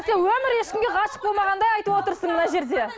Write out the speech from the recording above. өмірі ешкімге ғашық болмағандай айтып отырсың мына жерде